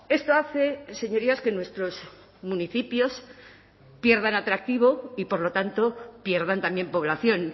esto hace señorías que nuestros municipios pierdan atractivo y por lo tanto pierdan también población